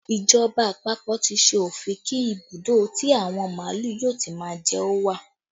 Ìjọba àpapọ̀ tí ṣe òfin kí ibùdó tí àwọn màálù yóò ti má jẹ ó wà